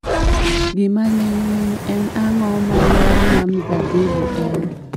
Gima ling'ling' en ang'o ma ler ma mzabibu en